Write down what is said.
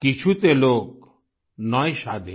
किछुते लोक नॉय शाधीन